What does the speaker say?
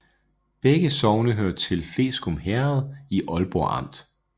Begge sogne hørte til Fleskum Herred i Aalborg Amt